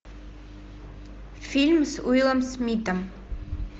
фильм с уиллом смитом